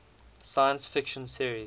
science fiction series